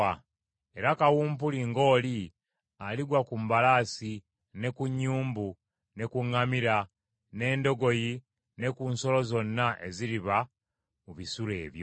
Era kawumpuli ng’oli aligwa ku mbalaasi, ne ku nnyumbu, ne ku ŋŋamira, n’endogoyi, ne ku nsolo zonna eziriba mu bisulo ebyo.